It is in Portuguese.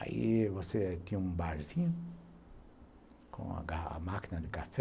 Aí, você tinha um barzinho, com a máquina de café,